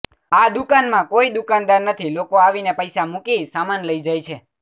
આ દુકાનમાં કોઈ દુકાનદાર નથી લોકો આવીને પૈસા મૂકી સામાન લઈ જાય છે